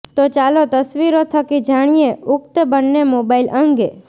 તો ચાલો તસવીરો થકી જાણીએ ઉક્ત બન્ને મોબાઇલ અંગે